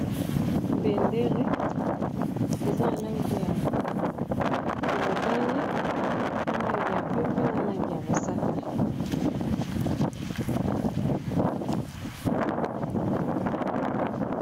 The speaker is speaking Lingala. Bendele eza na langi ya motane, na langi ya pembew na langi ya mosaka.